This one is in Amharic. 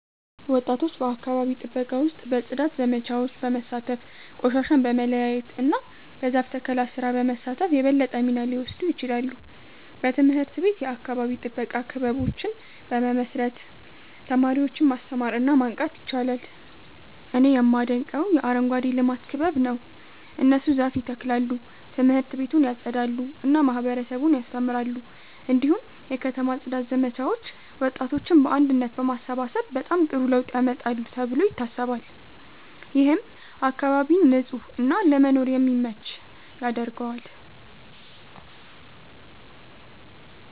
ወጣቶች በአካባቢ ጥበቃ ውስጥ በጽዳት ዘመቻዎች በመሳተፍ፣ ቆሻሻን በመለያየት እና በዛፍ ተከላ ስራ በመሳተፍ የበለጠ ሚና ሊወስዱ ይችላሉ። በትምህርት ቤት የአካባቢ ጥበቃ ክበቦችን በመመስረት ተማሪዎችን ማስተማር እና ማንቃት ይቻላል። እኔ የማደንቀው የአረንጓዴ ልማት ክበብ ነው። እነሱ ዛፍ ይተክላሉ፣ ት/ቤቱን ያጸዳሉ እና ማህበረሰቡን ያስተምራሉ። እንዲሁም የከተማ ጽዳት ዘመቻዎች ወጣቶችን በአንድነት በማሰባሰብ በጣም ጥሩ ለውጥ ያመጣሉ ተብሎ ይታሰባል። ይህም አካባቢን ንጹህ እና ለመኖር የሚመች ያደርገዋል።